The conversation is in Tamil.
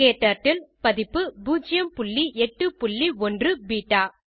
க்டர்ட்டில் பதிப்பு 081 பெட்டா